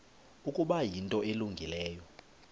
ukuba yinto elungileyo